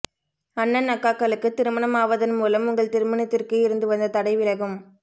அண்ணன் அக்காக்களுக்கு திருமணம் ஆவதன் மூலம் உங்கள் திருமணத்திற்கு இருந்து வந்த தடை விலகும்